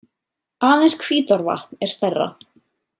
Aðeins Hvítárvatn er stærra.